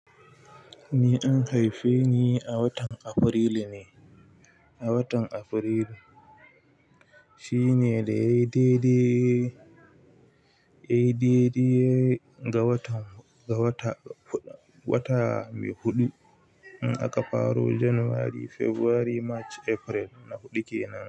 Ni an haife ni a watan Afrilu ne, a watan Afrilu. Shine da ya yi daidai, ya yi daidai ga wata, ga wata mai huɗu. In aka faro Janairu, Fabrairu, Mach, Afrilu. Na huɗu ke nan.